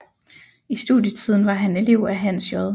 I studietiden var han elev af Hans J